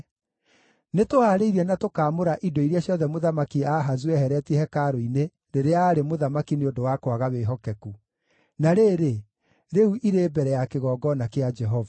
Nĩtũhaarĩirie na tũkaamũra indo iria ciothe Mũthamaki Ahazu ehereetie Hekarũ-inĩ rĩrĩa aarĩ mũthamaki nĩ ũndũ wa kwaga wĩhokeku. Na rĩrĩ, rĩu irĩ mbere ya kĩgongona kĩa Jehova.”